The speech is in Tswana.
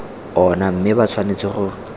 ona mme ba tshwanetse go